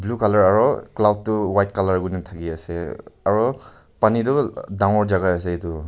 blue colour aru cloud toh white colour kui ne thaki ase aru pani toh dagor jaka ase etu.